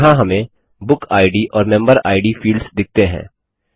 यहाँ हमें book ID और मेंबर इद फील्ड्स दिखते हैं